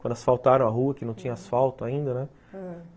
Quando asfaltaram a rua, uhum, que não tinha asfalto ainda, né? ãh